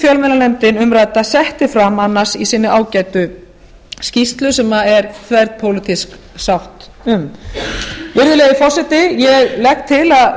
fjölmiðlanefndin umrædda setti fram annars í sinni ágætu skýrslu sem er þverpólitísk sátt um virðulegi forseti ég legg til að